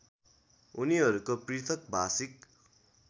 उनीहरूको पृथक भाषिक